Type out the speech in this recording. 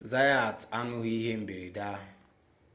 zayat ahụghị ihe mberede ahụ